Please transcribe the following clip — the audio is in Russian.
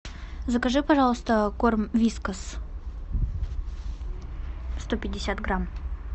закажи пожалуйста корм вискас сто пятьдесят грамм